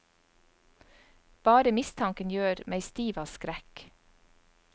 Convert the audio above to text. Bare mistanken gjør meg stiv av skrekk.